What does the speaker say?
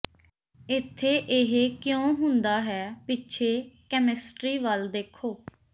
ਇੱਥੇ ਇਹ ਕਿਉਂ ਹੁੰਦਾ ਹੈ ਪਿੱਛੇ ਕੈਮਿਸਟਰੀ ਵੱਲ ਦੇਖੋ